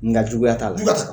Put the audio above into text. Nga juguya t'a la. Jugu